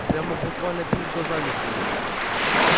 прямо буквально перед глазами стоит